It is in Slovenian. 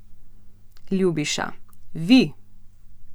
Ljubiša: "Vi!